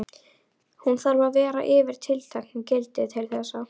Hún þarf að vera yfir tilteknu gildi til þess.